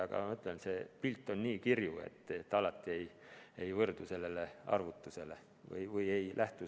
Aga ma ütlen, see pilt on nii kirju, et alati ei saa sellisest arvutusest lähtuda.